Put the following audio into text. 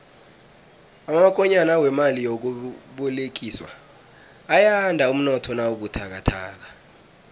amakonyana wemali yokubolekiswa ayanda umnotho nawubuthakathaka